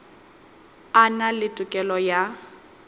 a na le tokelo ya